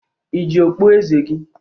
Ị ji okpu eze gị!